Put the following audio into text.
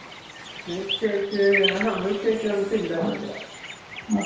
milkshake அ ஆ milkshake வந்துட்டு இல்லை நினைக்கிறன்